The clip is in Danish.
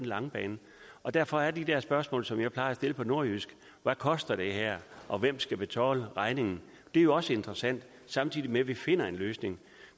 lange bane og derfor er de der spørgsmål som jeg plejer at stille på nordjysk hvad koster det her og hvem skal betale regningen jo også interessante samtidig med at vi finder en løsning